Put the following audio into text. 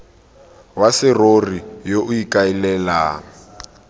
wa serori yo o ikaelelang